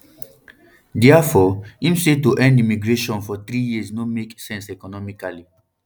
diafore im say to end immigration for three years no make sense economically